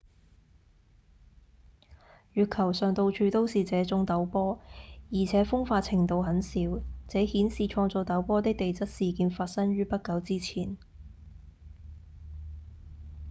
月球上到處都是這種陡坡而且風化程度很小這顯示創造陡坡的地質事件發生於不久之前